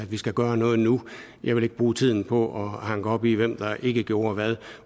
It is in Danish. at vi skal gøre noget nu jeg vil ikke bruge tiden på at hanke op i hvem der ikke gjorde hvad